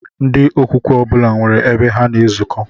Ndị okwukwe ọbụla nwere ebe ha na-ezuko